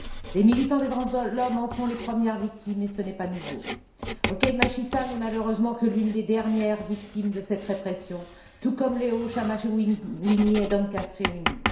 Les militants des droits de l'homme en sont les premières victimes et ce n'est pas nouveau. Okay Machisa n'est malheureusement que l'une des dernières victimes de cette répression, tout comme Leo Chamahwinya et Dorcas Shereni.